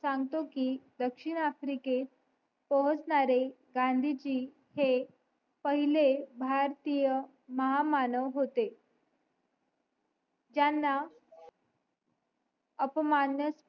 सांगतो कि दक्षिण आफ्रिकेत पोहोचणारे गांधीजी हे पहिले भारतीय महामानव होते त्यांना अपमान्य